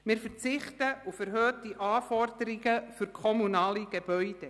Zudem verzichten wir auf erhöhte Anforderungen für kommunale Gebäude.